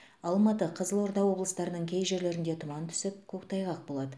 алматы қызылорда облыстарының кей жерлерінде тұман түсіп көктайғақ болады